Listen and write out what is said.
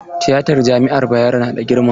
Tiyatan jami'ar Bayero na da girma?